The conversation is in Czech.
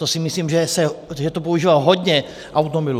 To si myslím, že tam se používá hodně automobilů.